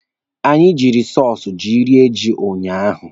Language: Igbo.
Anyị ji sọsụ ji rie ji unyaahụ.